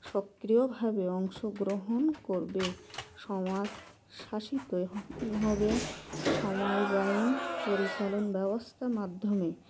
সক্রিয় ভাবে অংশগ্রহণ করবে সমাজ শাসিত হবে সময় বাইন পরিচালন ব্যবস্থার মাধ্যমে